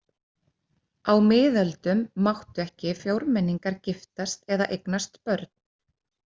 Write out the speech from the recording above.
Á miðöldum máttu ekki fjórmenningar giftast eða eignast börn.